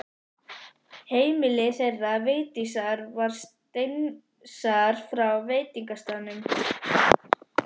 Heimili þeirra Vigdísar var steinsnar frá veitingastaðnum.